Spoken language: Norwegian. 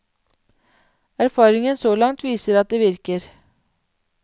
Erfaringen så langt viser at det virker.